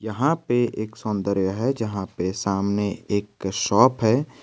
यहां पे एक सौंदर्य है जहां पे सामने एक शॉप है।